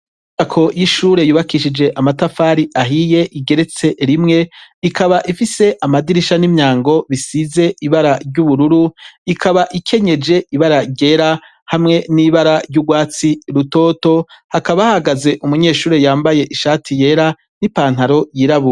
Inyubako y'ishure yubakishije amatafari ahiye igeretse rimwe ikaba ifise amadirisha n'imyango bisize ibara ry'ubururu ikaba ikenyeje ibara ryera hamwe n'ibara ry'ugwatsi rutoto hakaba hahagaze umunyeshuri yambaye ishati yera n'ipantaro yirabure.